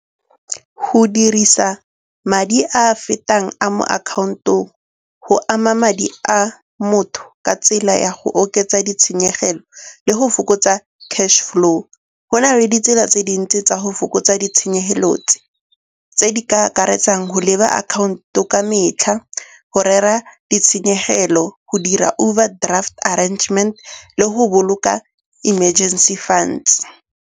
Go dirisa madi a a fetang a mo akhaontong go ama madi a motho ka tsela ya go oketsa ditshenyegelo le go fokotsa cash flow. Go na le ditsenyela tse dintsi tsa go fokotsa ditshenyegelo tse. Tse di ka akaretsang go leba akhaonto ka metlha, go rera ditshenyegelo, go dira overdraft arrangement le go boloka emergency funds.